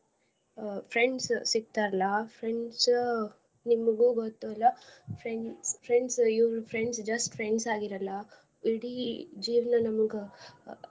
Friends ಸಿಕ್ತಾರ್ಲಾ ಆ friends ನಿಮ್ಗೂ ಗೊತ್ತ ಅಲ್ಲಾ friends friends ಇವ್ರು friends just friends ಆಗಿರಲ್ಲ ಇಡೀ ಜೀವ್ನ ನಮ್ಗ.